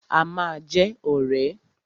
A ma jẹ́ ọ̀rẹ́.